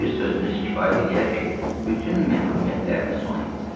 Bir sözünüz kifayət eləyər ki, bütün məhrumiyyətiniz sona yetsin.